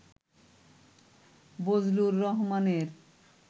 বজলুর রহমানের